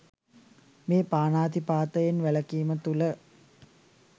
මේ පාණාතිපාතයෙන් වැළකීම තුළ